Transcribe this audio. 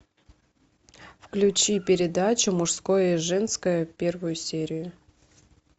включи передачу мужское и женское первую серию